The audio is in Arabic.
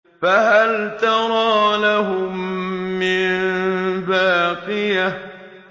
فَهَلْ تَرَىٰ لَهُم مِّن بَاقِيَةٍ